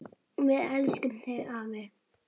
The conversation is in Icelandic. Við elskum þig afi!